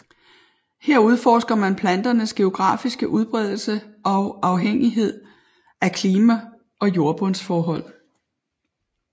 Her udforsker man planternes geografiske udbredelse og afhængighed af klima og jordbundsforhold